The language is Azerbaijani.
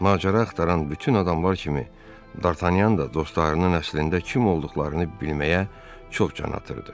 Macəra axtaran bütün adamlar kimi Dartanyan da dostlarının əslində kim olduqlarını bilməyə çox can atırdı.